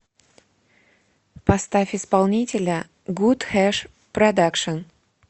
поставь исполнителя гуд хэш продакшн